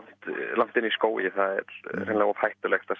langt inni í skógi það er hreinlega of hættulegt að